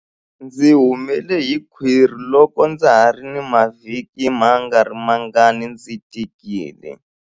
Ndzi humele hi khwiri loko ndza ha ri na mavhiki mangarimangani ndzi tikile.